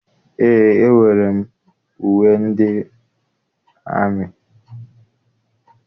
Eé, enwere m uwe ndị amị.